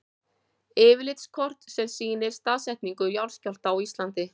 yfirlitskort sem sýnir staðsetningu jarðskjálfta á íslandi